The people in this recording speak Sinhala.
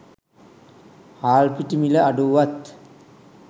හාල් පිටි මිල අඩු වුවත්